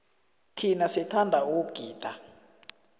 thina sithanda ukugida